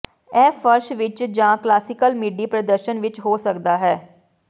ਇਹ ਫਰਸ਼ ਵਿੱਚ ਜਾਂ ਕਲਾਸੀਕਲ ਮਿਡੀ ਪ੍ਰਦਰਸ਼ਨ ਵਿੱਚ ਹੋ ਸਕਦਾ ਹੈ